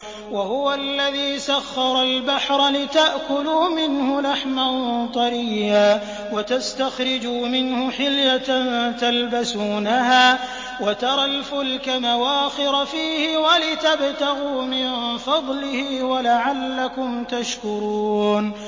وَهُوَ الَّذِي سَخَّرَ الْبَحْرَ لِتَأْكُلُوا مِنْهُ لَحْمًا طَرِيًّا وَتَسْتَخْرِجُوا مِنْهُ حِلْيَةً تَلْبَسُونَهَا وَتَرَى الْفُلْكَ مَوَاخِرَ فِيهِ وَلِتَبْتَغُوا مِن فَضْلِهِ وَلَعَلَّكُمْ تَشْكُرُونَ